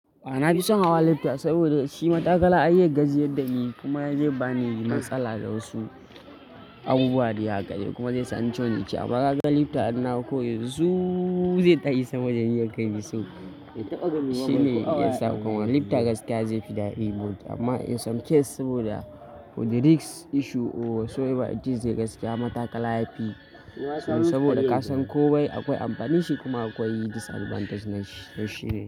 A'a na fi son hawa lifta saboda shi matakala an iya gajiyar da ni kuma zai bani matsala da wasu abubuwa da ya kare kuma zai sa ni cionice. Amma ga ga lifta ana kawai su zai ta yi sama jan yanka mai sauƙi. Shi ne yasa kawai lifta gaskiya zai fi daɗi. Amma in some case saboda with the risk issue or so ever it is zai gasa mata kala yafi. Saboda ka san kawai akwai amfanin shi kuma akwai disadvantage na shi ne.